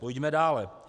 Pojďme dále.